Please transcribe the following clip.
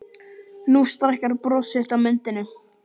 Nú stækkar bros þitt á myndinni.